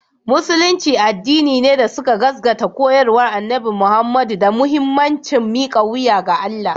Musulunci addini ne da suka gaskata koyarwar Annabi Muhammadu da muhimmancin mika wuya ga Allah